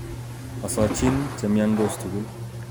Osochin chemiodos tugul